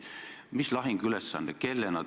Mis lahinguülesande te saite?